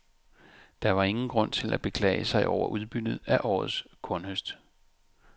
Der var ingen grund til at beklage sig over udbyttet af årets kornhøst.